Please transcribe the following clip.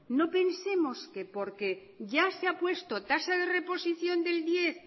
no pensemos que porque ya se ha puesto tasa de reposición del diez